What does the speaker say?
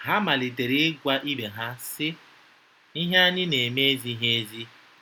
Ha malitere ịgwa ibe ha, sị: “Ihe anyị na-eme ezighị ezi.